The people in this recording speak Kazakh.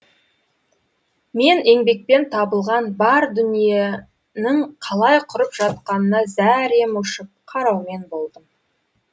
мен еңбекпен табылған бар дүниенің қалай құрып жатқанына зәрем ұшып қараумен болдым